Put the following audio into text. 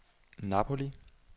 Napoli